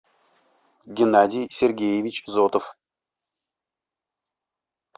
геннадий сергеевич зотов